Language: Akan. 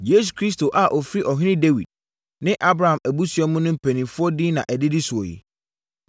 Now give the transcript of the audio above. Yesu Kristo a ɔfiri Ɔhene Dawid ne Abraham abusua mu no mpanimfoɔ din na ɛdidi soɔ yi: